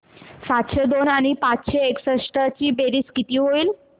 सातशे दोन आणि पाचशे एकसष्ट ची बेरीज किती होईल